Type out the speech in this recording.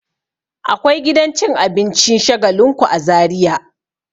Akwai gidan cin abincin Shagalinku a Zariya.